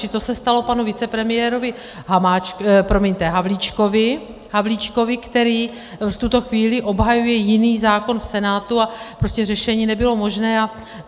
Čili to se stalo panu vicepremiérovi Havlíčkovi, který v tuto chvíli obhajuje jiný zákon v Senátu, a prostě řešení nebylo možné.